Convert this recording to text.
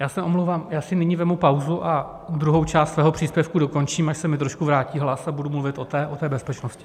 Já se omlouvám, já si nyní vezmu pauzu a druhou část svého příspěvku dokončím, až se mi trošku vrátí hlas, a budu mluvit o té bezpečnosti.